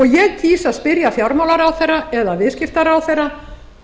ég kýs að spyrja fjármálaráðherra eða viðskiptaráðherra